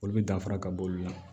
Olu bɛ danfara ka bɔ olu la